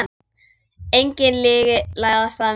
Engin lygi læðast að mér.